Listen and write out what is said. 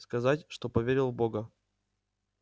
сказать что поверил в бога